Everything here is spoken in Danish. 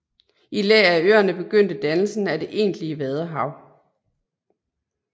I læ af øerne begyndte dannelsen af det egentlige vadehav